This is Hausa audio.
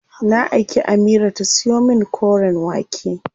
Na aiki Amira ta siyo min koren wake.